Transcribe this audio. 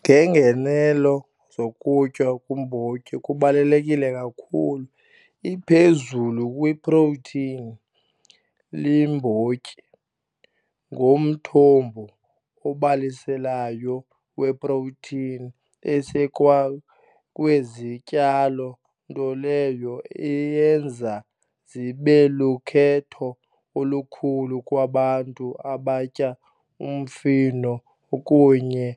Ngeengenelo zokutya kwiimbotyi kubalulekile kakhulu, iphezulu kwi-protein. Iiyimbotyi ngumthombo obaliselayo we-protein esekwa kwezityalo, nto leyo eyenza zibe lukhetho olukhulu kwabantu abatya umfino kunye